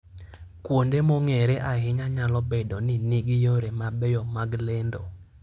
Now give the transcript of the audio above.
Kuonde mong'ere ahinya nyalo bedo ni nigi yore mabeyo mag lendo.